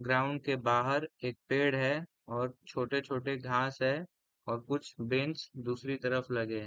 ground के बाहर एक पेड़ है और छोटे-छोटे घास है और कुछ बेंच दूसरी तरफ लगे हैं |